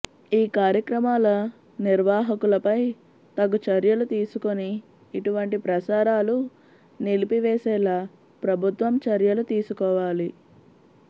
ఈ కార్యక్రమాల నిర్వాహకులపై తగు చర్యలు తీసుకొని ఇటువంటి ప్రసారాలు నిలిపివేసేలా ప్రభుత్వం చర్యలు తీసుకోవాలి